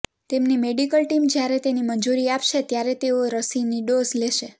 તેમની medical team જ્યારે તેની મંજૂરી આપશે ત્યારે તેઓ રસીનો ડોઝ લેશે